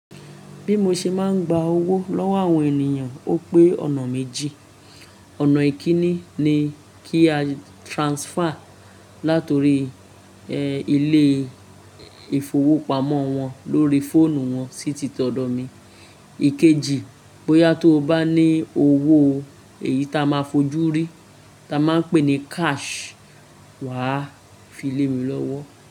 Bí mo ṣe máa ń gba owó lọ́wọ́ àwọn ènìyàn ó pé ọ̀nà méjì. Ọ̀nà ìkíní ni kí a transfer láti orí ilé ìfowópamọ́ wọn lórí fóònù wọn sí ti tọ̀dọ̀ mi. Ìkejì, bóyá tóo bá ní owó èyí táa máa fojú rí táa máa ń pè ní cash, wà á fi lé mi lọ́wọ́.